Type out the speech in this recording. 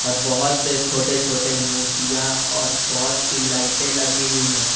और बहोत से छोटे छोटे मूर्तियां और बहोत सी लाइटें लगी हुई है।